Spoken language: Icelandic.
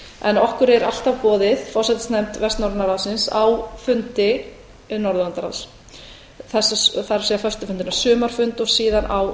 en okkur er alltaf boðið forsætisnefnd vestnorræna ráðsins á fundi norðurlandaráðs það er föstu fundina sumarfund og síðan á